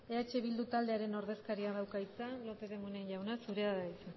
eh bildu taldearen ordezkariak dauka hitza lópez de munain jauna zurea da hitza